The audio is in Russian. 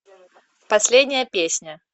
последняя песня